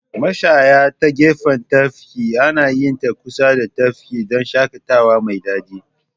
Mashaya ta gefen tafki anayinta kusa da tafki dan shaƙatawa mai daɗi.